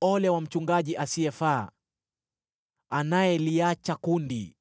“Ole wa mchungaji asiyefaa, anayeliacha kundi!